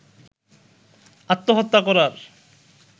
আত্মহত্যা করার